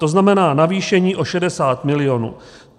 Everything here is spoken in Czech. To znamená navýšení o 60 milionů.